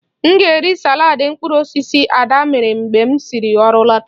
M ga-eri saladị mkpụrụ osisi Ada mere mgbe m si ọrụ lọta